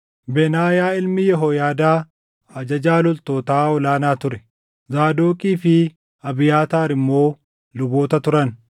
Benaayaa ilmi Yehooyaadaa ajajaa loltootaa ol aanaa ture; Zaadoqii fi Abiyaataar immoo luboota turan;